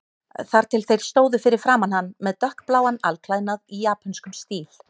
Þar til þeir stóðu fyrir framan hann með dökkbláan alklæðnað í japönskum stíl.